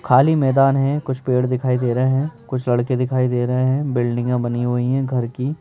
खाली मैदान हैं कुछ पेड़ दिखाई दे रहे हैं कुछ लड़के दिखाई दे रहे हैं बिल्डिंगे बनी हुई हैं घर की --